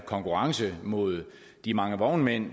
konkurrence mod de mange vognmænd